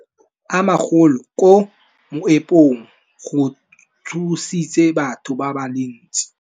Go wa ga matlapa a magolo ko moepong go tshositse batho ba le bantsi.